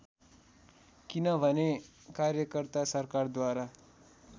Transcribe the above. किनभने कार्यकर्ता सरकारद्वारा